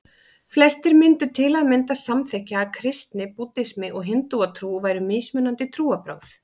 Flestir myndu til að mynda samþykkja að kristni, búddismi og hindúatrú væru mismunandi trúarbrögð.